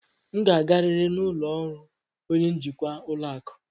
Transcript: M ga-agarịrị n'ụlọ ọrụ onye njikwa ụlọ akụ.